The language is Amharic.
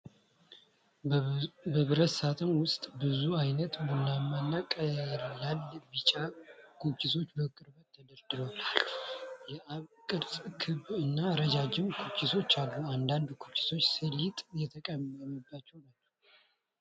በብረት ሳጥን ውስጥ ብዙ ዓይነት ቡናማ እና ቀላል ቢጫ ኩኪሶች በቅርበት ተደርድረው አሉ። የአበባ ቅርጽ፣ ክብ እና ረጅም ኩኪሶች አሉ። አንዳንድ ኩኪሶች ሰሊጥ የተቀመመባቸው ናቸው።